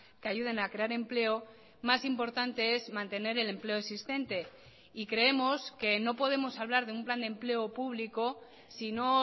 que ayuden a crear empleo más importante es mantener el empleo existente y creemos que no podemos hablar de un plan de empleo público si no